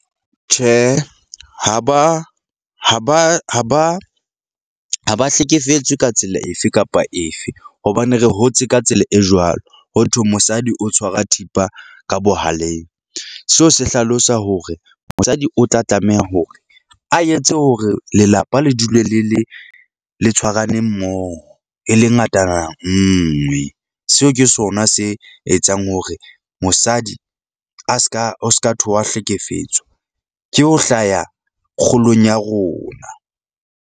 Tjhe, ha ba ha ba ha ba ha ba hlekefetswe ka tsela efe kapa efe hobane re hotse ka tsela e jwalo. Ho thwe mosadi o tshwara thipa ka bohaleng. Seo se hlalosa hore mosadi o tla tlameha hore a etse hore lelapa le dule le le le tshwarane mmoho e le ngatana nngwe. Seo ke sona se etsang hore mosadi a seka o ska thwe wa hlekefetswa. Ke ho hlaya kgolong ya rona.